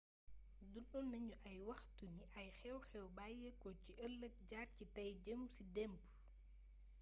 dundu nañu ay waxtu ni ay xewxew bayyéeko ci eelleek jaar ci tay jeem ci démb